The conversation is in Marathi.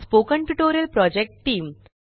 spoken tutorial project team